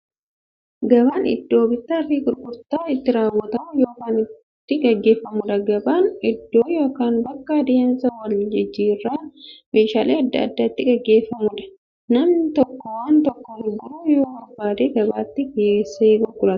Gabaan iddoo bittaaf gurgurtaan itti raawwatu yookiin itti gaggeeffamuudha. Gabaan iddoo yookiin bakka adeemsa waljijjiiraan meeshaalee adda addaa itti gaggeeffamuudha. Namni tokko waan tokko gurguruu yoo barbaade, gabaatti geessee gurgurata.